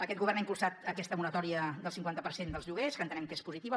aquest govern ha impulsat aquesta moratòria del cinquanta per cent dels lloguers que entenem que és positiva